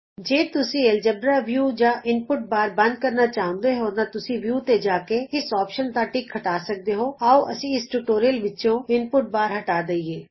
ਜੇ ਤੁਸੀਂ algebra view ਜਾਂ ਇਨ ਪੁੱਟ ਬਾਰ ਬੰਦ ਕਰਨਾ ਚਾਹੁੰਦੇ ਹੋ ਤਾਂ ਤੁਸੀਂ ਵਿਊ ਤੇ ਜਾ ਕੇ ਇਸ ਵਿਕਲਪ ਦਾ ਟਿਕ ਹਟਾ ਸਕਦੇ ਹੋਆਉ ਅਸੀਂ ਇਸ ਟਿਯੂਟੋਰਿਅਲ ਵਿਚੋਂ ਇਨ ਪੁੱਟ ਬਾਰ ਹਟਾ ਦਈਏ